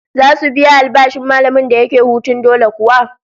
Zasu biya albashin mallamin da yake hutun dole kuwa?